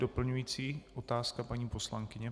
Doplňující otázka, paní poslankyně?